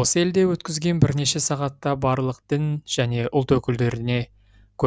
осы елде өткізген бірнеше сағатта барлық дін және ұлт өкілдеріне